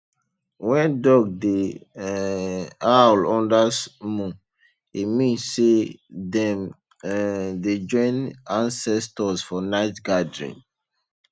when dog dey um howl under moon e mean say dem um dey join ancestors for night gathering